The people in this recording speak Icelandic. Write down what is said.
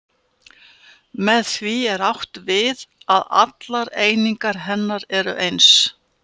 Með því er átt við að allar einingar hennar eru eins.